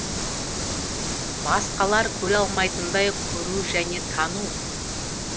басқалар көре алмайтындай көру және тану